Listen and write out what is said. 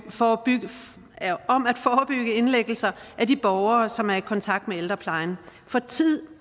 forebygge indlæggelser af de borgere som er i kontakt med ældreplejen for tid